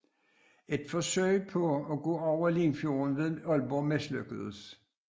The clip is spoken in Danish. Et forsøg på at gå over Limfjorden ved Aalborg mislykkedes